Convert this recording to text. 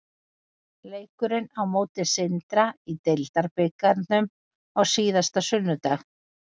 Leikurinn á móti Sindra í deildarbikarnum á síðasta sunnudag.